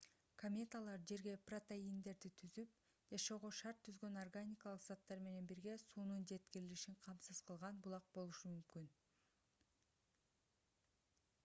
кометалар жерге протеиндерди түзүп жашоого шарт түзгөн органикалык заттар менен бирге суунун жеткирилишин камсыз кылган булак болушу мүмкүн